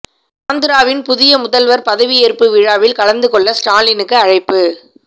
ஆந்திராவின் புதிய முதல்வர் பதவியேற்பு விழாவில் கலந்து கொள்ள ஸ்டாலினுக்கு அழைப்பு